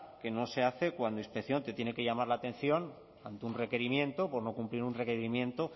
que no se hace cuando inspección te tiene que llamar la atención ante un requerimiento por no cumplir un requerimiento